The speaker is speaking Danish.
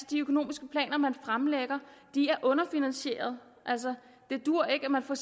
de økonomiske planer man fremlægger underfinansierede altså det duer ikke at man for